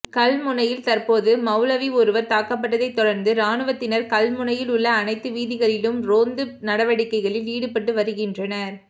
கல்முனையில் தற்போது மௌலவி ஒருவர் தாக்கப்பட்டதை தொடர்ந்து இராணுவத்தினர் கல்முனையில் உள்ள அனைத்து வீதிகளிலும் ரோந்து நடவடிக்கைகளில் ஈடுபட்டு வருகின்றனர்